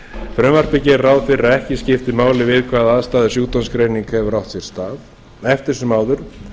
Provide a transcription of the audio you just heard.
frumvarpið gerir ráð fyrir að ekki skipti máli við hvaða aðstæður sjúkdómsgreining hefur átt sér stað eftir sem áður